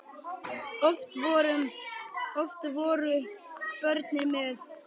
Oft voru börnin með.